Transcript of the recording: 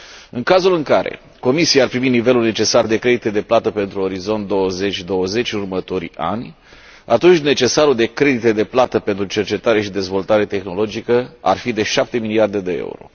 În cazul în care Comisia ar primi nivelul necesar de credite de plată pentru Orizont 2020 în următorii ani, atunci necesarul de credite de plată pentru cercetare și dezvoltare tehnologică ar fi de șapte miliarde de euro.